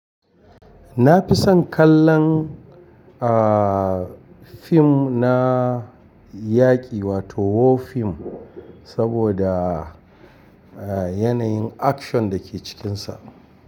Na fi son kallon, ah, fim na yaƙi wato war film saboda, ah, yanayin action da ke cikinsa.